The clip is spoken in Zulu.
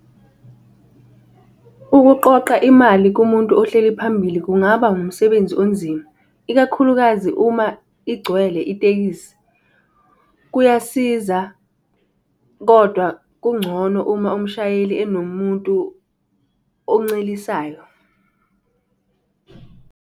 Ukuqoqa imali kumuntu ohleli phambili kungaba umsebenzi onzima, ikakhulukazi uma igcwele itekisi. Kuyasiza kodwa kungcono uma umshayeli enomuntu oncelisayo.